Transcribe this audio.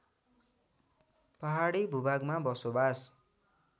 पहाडी भूभागमा बसोवास